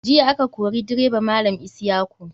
Jiya a ka kori direba malam isyaku.